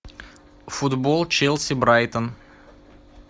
футбол челси брайтон